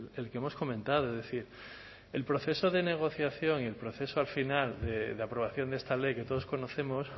el que hemos comentado es decir el proceso de negociación y el proceso al final de aprobación de esta ley que todos conocemos